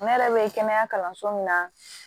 Ne yɛrɛ bɛ kɛnɛya kalanso min na